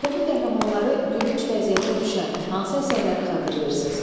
Ədəbi qəhrəmanları gülünc vəziyyətə düşən hansı əsərləri xatırlayırsınız?